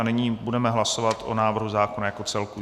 A nyní budeme hlasovat o návrhu zákona jako celku.